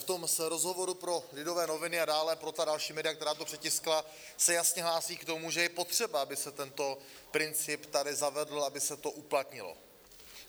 V tom rozhovoru pro Lidové noviny a dále pro ta další média, která to přetiskla, se jasně hlásí k tomu, že je potřeba, aby se tento princip tady zavedl, aby se to uplatnilo.